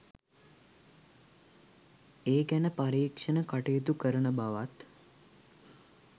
ඒ ගැන පරීක්ෂණ කටයුතු කරන බවත්